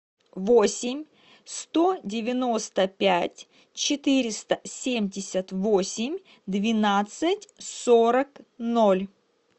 восемь сто девяносто пять четыреста семьдесят восемь двенадцать сорок ноль